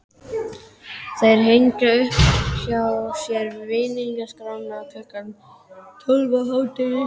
Þeir hengja upp hjá sér vinningaskrána klukkan tólf á hádegi.